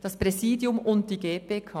«das Präsidium und die GPK».